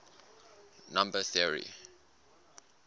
number theory